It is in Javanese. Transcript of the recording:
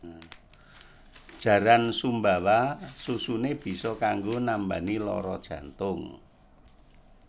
Jaran Sumbawa susune biso kanggo nambani loro jantung